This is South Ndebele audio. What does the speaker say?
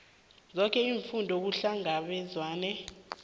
zoke iimfuno kuhlangabezwene